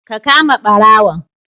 Ka kama barawon